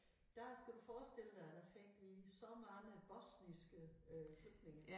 Der skal du forestille dig der der fik vi så mange bosniske øh flygtninge